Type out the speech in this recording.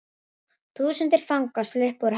Þúsundir fanga sluppu úr haldi